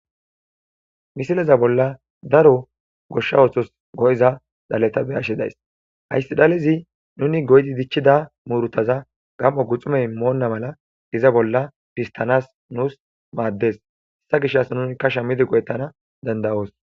misileza bolla daro goshsha oothos go7iza dhaleta be ashshedays hayssi dhalezi nuni goydi dichchida muurutaza gam7o guxumey moonna mala iza bolla pistanas nuus maaddes hessa gish as nunika shamidi go7ettana dandayoos